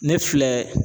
Ne filɛ